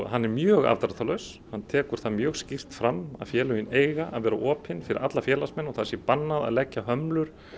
hann er mjög afdráttarlaus hann tekur það mjög skýrt fram að félögin eiga að vera opin fyrir alla félagsmenn og það sé bannað að leggja hömlur